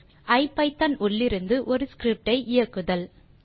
ஐபிதான் உள்ளிருந்து ஒரு ஸ்கிரிப்ட் ஐ இயக்குதல்